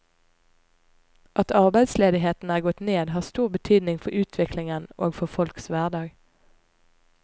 At arbeidsledigheten er gått ned, har stor betydning for utviklingen og for folks hverdag.